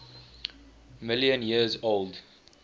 million years old